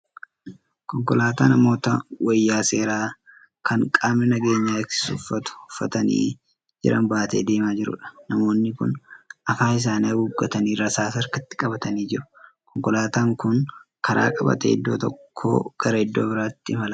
Konkolaataa namoota wayaa seeraa Kan qaamni nageenya eegsisu uffatu uffatanii jiran baatee deemaa jiruudha. Namoonni kun afaan isaanii haguuggatanii rasaasa harkatti qabatanii jiru. Konkolaataan Kuni karaa qabatee iddoo tokkoo gara iddoo biraatti imalaa jira.